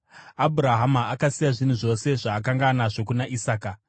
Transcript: Abhurahama akasiya zvinhu zvose zvaakanga anazvo kuna Isaka.